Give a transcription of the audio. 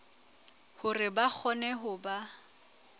hore ba kgone ho ba